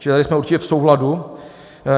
- Čili tady jsme určitě v souladu.